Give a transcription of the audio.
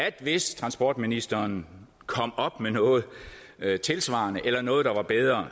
at hvis transportministeren kom op med noget tilsvarende eller noget der var bedre